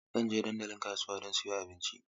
Zan je dandalin kasuwa don siyan abinci.